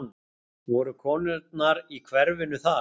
Voru konurnar í hverfinu þar?